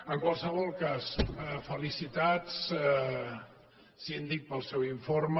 en qualsevol cas felicitats síndic pel seu informe